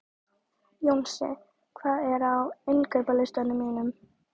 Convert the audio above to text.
Jónsi, hvað er á innkaupalistanum mínum?